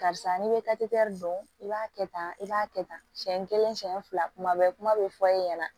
Karisa n'i bɛ takite dɔn i b'a kɛ tan i b'a kɛ tan siɲɛ kelen siɲɛ fila kuma bɛɛ kuma bɛ fɔ e ɲɛna